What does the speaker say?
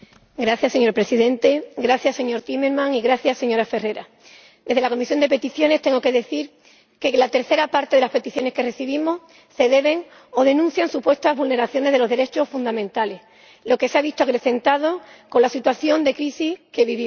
Señor Presidente, señor Timmermans, señora Ferrara, desde la Comisión de Peticiones tengo que decir que la tercera parte de las peticiones que recibimos denuncian supuestas vulneraciones de los derechos fundamentales, lo que se ha visto acrecentado con la situación de crisis que vivimos.